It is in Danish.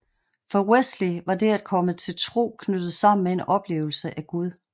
For Wesley var det at komme til tro knyttet sammen med en oplevelse af Gud